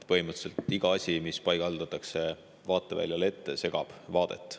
Põhimõtteliselt iga asi, mis vaateväljale paigaldatakse, segab vaadet.